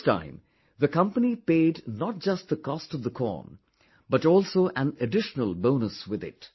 This time, the company paid not just the cost of the corn but also an additional bonus with it